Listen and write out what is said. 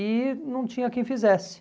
E não tinha quem fizesse.